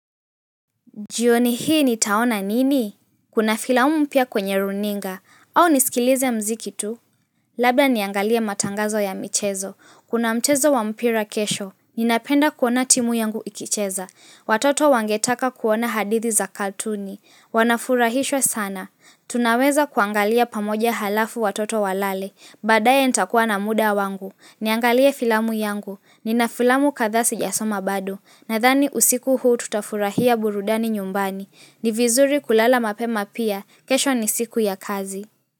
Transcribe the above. Jioni hii nitaona nini? Kuna filamu mpya kwenye runinga au nisikilize muziki tu? Labda niangalie matangazo ya michezo. Kuna mchezo wa mpira kesho. Ninapenda kuona timu yangu ikicheza. Watoto wangetaka kuona hadithi za katuni. Wanafurahishwa sana. Tunaweza kuangalia pamoja halafu watoto walale baadaye nitakuwa na muda wangu Niangalie filamu yangu Nina filamu kadhaa sijasoma bado Nadhani usiku huu tutafurahia burudani nyumbani ni vizuri kulala mapema pia kesho ni siku ya kazi.